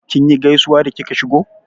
Kinyi gaisuwa da kika shigo?